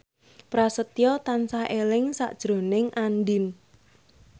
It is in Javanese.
Prasetyo tansah eling sakjroning Andien